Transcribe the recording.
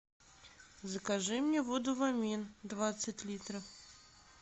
закажи мне воду вамин двадцать литров